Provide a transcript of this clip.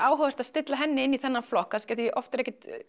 áhugavert að stilla henni inn í þennan flokk því oft er ekkert